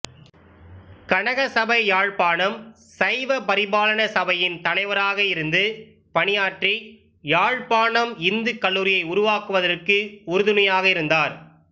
கனகசபை யாழ்ப்பாணம் சைவ பரிபாலன சபையின் தலைவராக இருந்து பணியாற்றி யாழ்ப்பாணம் இந்துக் கல்லூரியை உருவாக்குவதற்கு உறுதுணையாக இருந்தார்